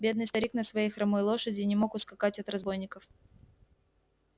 бедный старик на своей хромой лошади не мог ускакать от разбойников